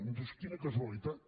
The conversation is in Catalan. dius quina casualitat